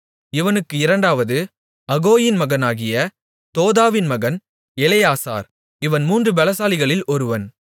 இவனுக்கு இரண்டாவது அகோயின் மகனாகிய தோதோவின் மகன் எலெயாசார் இவன் மூன்று பெலசாலிகளில் ஒருவன்